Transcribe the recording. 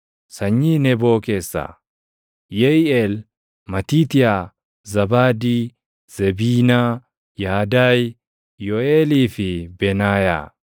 Sanyii Neboo keessaa: Yeʼiiʼeel, Matiitiyaa, Zaabaadii, Zebiinaa, Yaadaayi, Yooʼeelii fi Benaayaa.